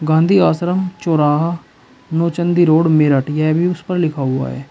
गांधी आश्रम चौराहा नौचंदी रोड मेरठ यह भी उस पर लिखा हुआ है।